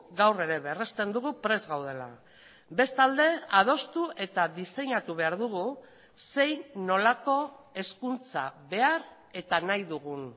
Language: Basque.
gaur ere berrezten dugu prest gaudela bestalde adostu eta diseinatu behar dugu zein nolako hezkuntza behar eta nahi dugun